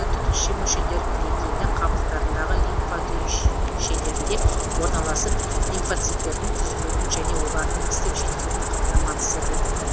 түтікше мүшелер кілегейлі қабықтарындағы лимфа түйіншелерінде орналасып лимфоциттердің түзілуін және олардың пісіп жетілуін қамтамасыз етеді